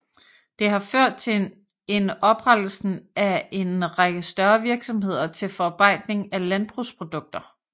Det har ført til en oprettelsen af en række større virksomheder til forarbejdning af landbrugsprodukter